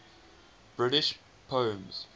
british poems